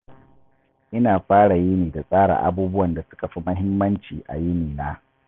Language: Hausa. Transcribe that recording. Ina fara yini da tsara abubuwan da suka fi muhimmanci a yini na.